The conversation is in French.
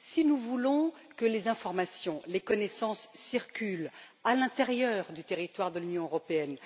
Si nous voulons que les informations et les connaissances circulent à l'intérieur du territoire de l'Union européenne,